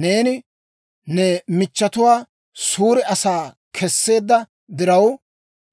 Neeni ne michchetuwaa suure asaa kesseedda diraw,